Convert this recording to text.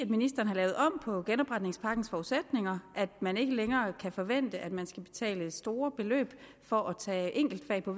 ministeren har lavet om på genopretningspakkens forudsætninger at man ikke længere kan forvente at man skal betale store beløb for at tage enkeltfag på